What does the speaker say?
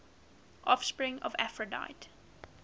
offspring of aphrodite